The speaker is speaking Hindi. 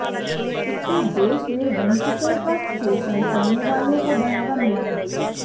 इससे देश में वंचितों का शोषण करने वालों को बढ़ावा मिला है